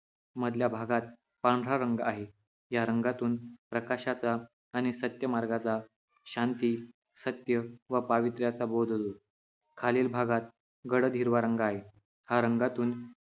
मधल्या भागात पांढरा रंग आहे या रंगातून प्रकाशाचा आणि सत्यमार्गाचा शांती सत्य व पावित्र्याचा बोध होईल खालील भागात गडद हिरवा रंग आहे हा रंगातून